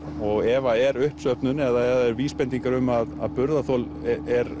og ef að er uppsöfnun eða vísbendingar um að burðarþol er